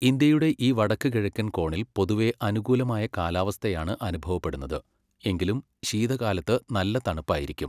ഇന്ത്യയുടെ ഈ വടക്കുകിഴക്കൻ കോണിൽ പൊതുവെ അനുകൂലമായ കാലാവസ്ഥയാണ് അനുഭവപ്പെടുന്നത്, എങ്കിലും ശീതകാലത്ത് നല്ല തണുപ്പായിരിക്കും.